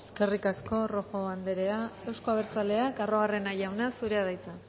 eskerrik asko rojo anderea eusko abertzaleak arruabarrena jauna zurea da hitza